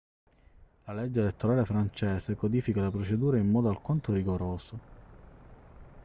la legge elettorale francese codifica le procedure in modo alquanto rigoroso